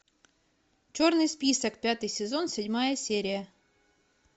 черный список пятый сезон седьмая серия